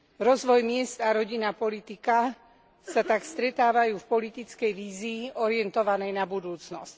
Rozvoj miest a rodinná politika sa tak stretávajú v politickej vízii orientovanej na budúcnosť.